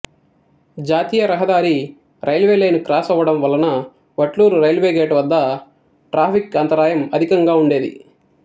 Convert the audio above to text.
జాతీయ రహదారి railway line cross అవ్వడం వలన వట్లూరు రైల్వేగేటు వద్ద ట్రాఫిక్ అంతరాయం అధికంగా ఉండేది